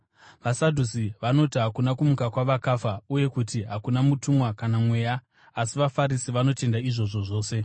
VaSadhusi vanoti hakuna kumuka kwavakafa, uye kuti hakuna mutumwa kana mweya, asi vaFarisi vanotenda izvozvo zvose.